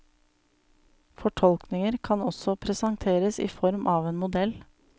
Fortolkninger kan også presenteres i form av en modell.